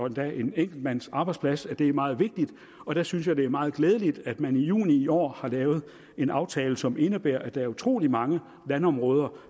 endda en enkeltmandsarbejdsplads at det er meget vigtigt og der synes jeg at det er meget glædeligt at man i juni i år har lavet en aftale som indebærer at der er utrolig mange landområder